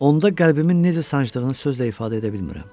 Onda qəlbimin necə sancdığını sözlə ifadə edə bilmirəm.